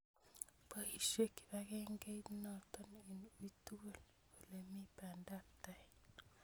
Poisye kipakengeit notok eng' ui tukul olemii pandap tai